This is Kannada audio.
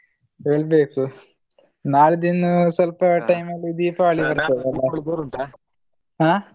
ಹೇಳ್ಬೇಕು ನಾಡಿದ್ದಿನ್ನು ಸ್ವಲ್ಪ time ಅಲ್ಲಿ ದೀಪಾವಳಿ ಬರ್ತದೆ ಹ.